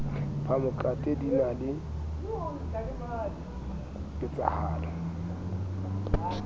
phamokate din a le ketsahalo